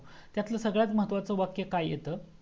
त्यातल सगळ्यात महत्वाच वाक्य काय येतं